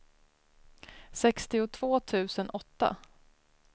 sextiotvå tusen åtta